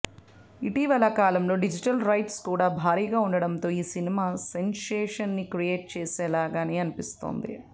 ఇటీవల కాలంలో digital rights కూడా భారీగా ఉండటంతో ఈ సినిమా సెన్సేషన్ ని క్రియేట్ చేసేలాగానే కనిపిస్తోంది